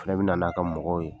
O fɛnɛ bina n'a ka mɔgɔw ye